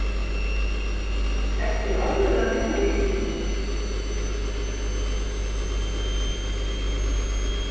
Ertu í alvöru að vinna við íþróttir?